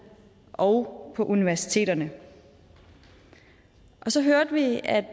og på universiteterne og så hørte vi at